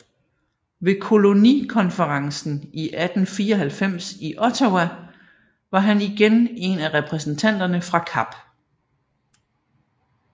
Ved kolonikonferencen i 1894 i Ottawa var han igen en af repræsentanterne fra Kap